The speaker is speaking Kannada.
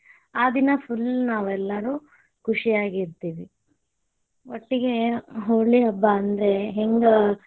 ಆ ದಿನಾ full ನಾವೆಲ್ಲರೂ ಖುಶಿಯಾಗಿರತೇವಿ, ಒಟ್ಟಗೇ ಹೋಳಿ ಹಬ್ಬಾ ಅಂದ್ರ ಹಿಂಗ.